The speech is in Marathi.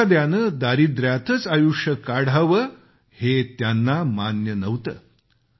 एखाद्याने दारिद्र्यातच आयुष्य काढावे हे त्यांना मान्य नव्हते